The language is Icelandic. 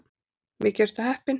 Mikið ertu heppinn.